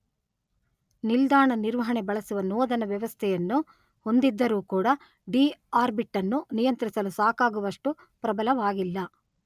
ನಿಲ್ದಾಣ ನಿರ್ವಹಣೆ ಬಳಸುವ ನೋದನ ವ್ಯವಸ್ಥೆಯನ್ನು ಹೊಂದಿದ್ದರೂ ಕೂಡ ಡಿಆರ್ಬಿಟ್ ಅನ್ನು ನಿಯಂತ್ರಿಸಲು ಸಾಕಾಗುವಷ್ಟು ಪ್ರಬಲವಾಗಿಲ್ಲ.